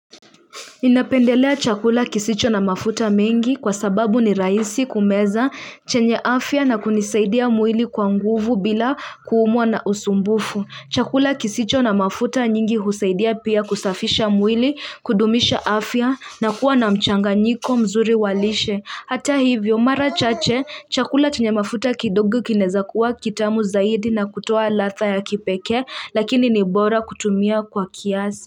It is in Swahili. Ninapendelea chakula kisicho na mafuta mengi kwa sababu ni rahisi kumeza chenye afya na kunisaidia mwili kwa nguvu bila kuumwa na usumbufu. Chakula kisicho na mafuta nyingi husaidia pia kusafisha mwili kudumisha afya na kuwa na mchanganyiko mzuri wa lishe. Hata hivyo mara chache chakula chenye mafuta kidogo kinaeza kuwa kitamu zaidi na kutoa ladha ya kipeke lakini ni bora kutumia kwa kiasi.